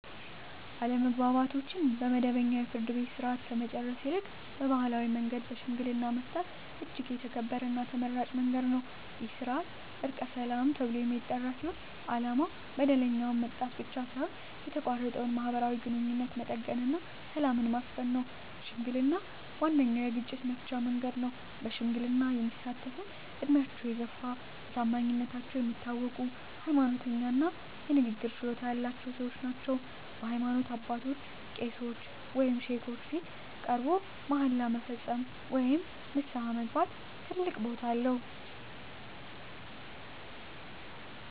አለመግባባቶችን በመደበኛው የፍርድ ቤት ሥርዓት ከመጨረስ ይልቅ በባሕላዊ መንገድ በሽምግልና መፍታት እጅግ የተከበረና ተመራጭ መንገድ ነው። ይህ ሥርዓት "ዕርቀ ሰላም" ተብሎ የሚጠራ ሲሆን፣ ዓላማው በደለኛውን መቅጣት ብቻ ሳይሆን የተቋረጠውን ማኅበራዊ ግንኙነት መጠገንና ሰላምን ማስፈን ነው። ሽምግልና ዋነኛው የግጭት መፍቻ መንገድ ነው። በሽምግልና የሚሳተፍትም ዕድሜያቸው የገፋ፣ በታማኝነታቸው የሚታወቁ፣ ሃይማኖተኛ እና የንግግር ችሎታ ያላቸው ሰዎች ናቸው። በሃይማኖት አባቶች (ቄሶች ወይም ሼኮች) ፊት ቀርቦ መሃላ መፈጸም ወይም ንስሐ መግባት ትልቅ ቦታ አለው።